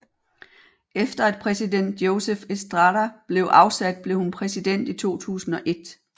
Efter at præsident Joseph Estrada blev afsat blev hun præsident i 2001